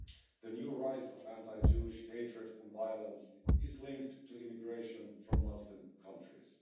The new rise in anti Jewish hatred and violence is linked to immigration from Muslim countries.